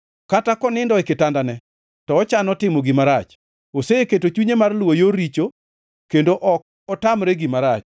Kata konindo e kitandane, to ochano timo gima rach; oseketo chunye mar luwo yor richo, kendo ok otamre gima rach.